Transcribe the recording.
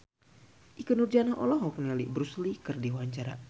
Ikke Nurjanah olohok ningali Bruce Lee keur diwawancara